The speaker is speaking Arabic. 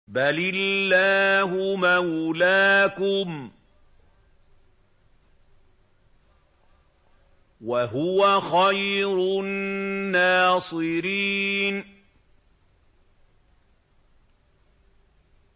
بَلِ اللَّهُ مَوْلَاكُمْ ۖ وَهُوَ خَيْرُ النَّاصِرِينَ